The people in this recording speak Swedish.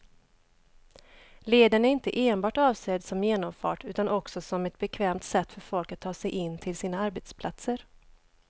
Leden är inte enbart avsedd som genomfart utan också som ett bekvämt sätt för folk att ta sig in till sina arbetsplatser.